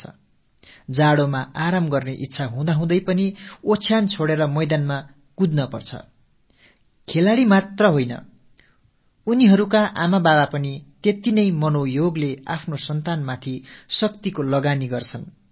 குளிரின் போது போர்த்திக் கொண்டு படுத்துக் கொள்ளும் ஆசை ஏற்படலாம் அப்போதும் கூட படுக்கையைத் துறந்து மைதானத்தில் ஓடிப்பழக வேண்டியிருக்கிறது இது விளையாட்டு வீரர்கள் விஷயத்தில் மட்டுமல்ல அவர்களின் தாய் தந்தையரும் கூட அந்த வீரர்கள் காட்டும் அதே தீவிரத்தோடும் மும்முரத்தோடும் பிள்ளைகளின் நலனில் தங்கள் சக்தியை செலவு செய்கிறார்கள்